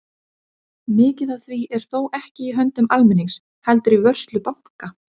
Mikið af því er þó ekki í höndum almennings heldur í vörslu banka.